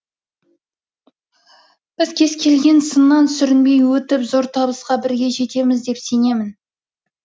біз кез келген сыннан сүрінбей өтіп зор табысқа бірге жетеміз деп сенемін